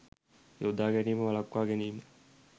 යොදා ගැනීම වළක්වා ගැනීම